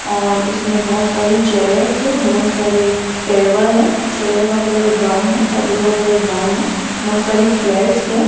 और इसमें बहोत सारी चेयर्स है बहोत सारी टेबल है चेयर का कलर ब्राउन है टेबल का कलर ब्राउन है बहोत सारी प्लेट्स हैं।